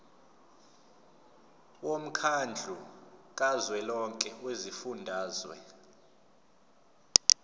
womkhandlu kazwelonke wezifundazwe